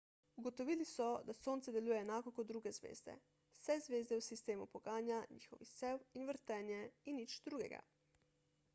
ugotovili so da sonce deluje enako kot druge zvezde vse zvezde v sistemu poganja njihov izsev in vrtenje in nič drugega